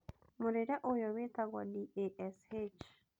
Mũrĩĩre ũyũ wĩtagwo DASH